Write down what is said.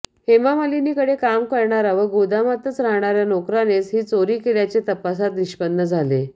हेमामालिनीकडे काम करणारा व गोदामातच राहणाऱया नोकरानेच ही चोरी केल्याचे तपासात निष्पन्न झाले